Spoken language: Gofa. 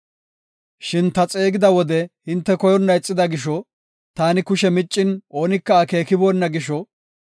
Shin ta xeegida wode hinte koyonna ixida gisho; taani kushe miccin oonika akeekibona gisho;